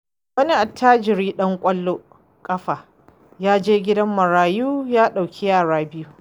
Wani attajirin ɗan ƙwallon ƙafa ya je gidan marayu ya ɗauki yara 2.